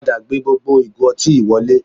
Padà gbé gbogbo ìgò ọtí yìí wọlé